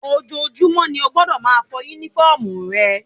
Ojoojúmọ́ ni o gbọ́dọ̀ máa fọ Únífọ́ọ̀mù rẹ